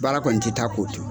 Baara kɔni te taa k'o to.